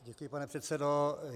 Děkuji, pane předsedo.